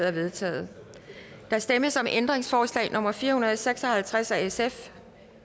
er vedtaget der stemmes om ændringsforslag nummer fire hundrede og seks og halvtreds af sf